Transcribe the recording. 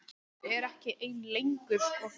Hún er ekki ein lengur.